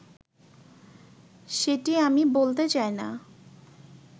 সেটি আমি বলতে চাইনা